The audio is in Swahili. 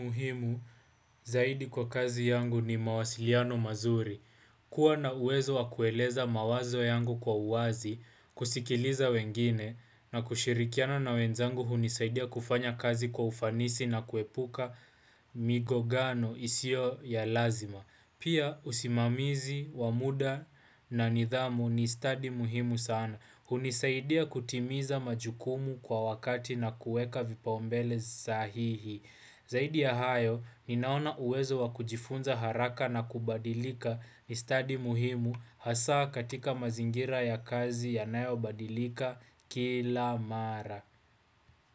Muhimu zaidi kwa kazi yangu ni mawasiliano mazuri, kuwa na uwezo wa kueleza mawazo yangu kwa uwazi, kusikiliza wengine, na kushirikiana na wenzangu hunisaidia kufanya kazi kwa ufanisi na kuepuka migongano isio ya lazima. Pia usimamizi, wa muda na nidhamu ni stadi muhimu sana. Hunisaidia kutimiza majukumu kwa wakati na kueka vipaumbele sahihi. Zaidi ya hayo, ninaona uwezo wa kujifunza haraka na kubadilika ni stadi muhimu hasa katika mazingira ya kazi yanayo badilika kila mara.